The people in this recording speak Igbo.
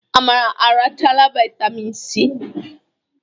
Amara arachala vitamịn Si.